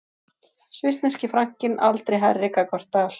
Svissneski frankinn aldrei hærri gagnvart dal